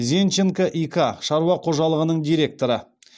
зенченко и к шаруа қожалығының директоры